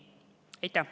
Aitäh!